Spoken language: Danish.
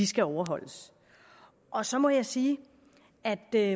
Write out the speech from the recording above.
skal overholdes og så må jeg sige at det